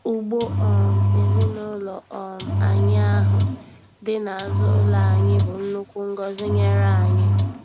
Ugbo um ezinụlọ um anyị ahụ dị n'azụ ụlọ anyị bụ nnukwu ngọzi nyere anyị.